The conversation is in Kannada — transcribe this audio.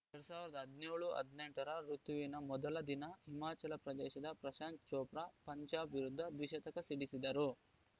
ಎರಡ್ ಸಾವಿರದ ಹದಿನೇಳು ಹದಿನೆಂಟು ರ ಋುತುವಿನ ಮೊದಲ ದಿನ ಹಿಮಾಚಲ ಪ್ರದೇಶದ ಪ್ರಶಾಂತ್‌ ಚೋಪ್ರಾ ಪಂಜಾಬ್‌ ವಿರುದ್ಧ ದ್ವಿಶತಕ ಸಿಡಿಸಿದ್ದರು